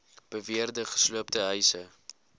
beweerde gesloopte huise